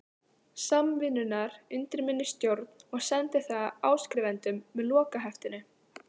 Samvinnunnar undir minni stjórn og sendi það áskrifendum með lokaheftinu.